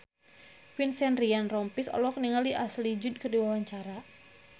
Vincent Ryan Rompies olohok ningali Ashley Judd keur diwawancara